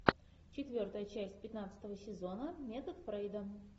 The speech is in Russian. четвертая часть пятнадцатого сезона метод фрейда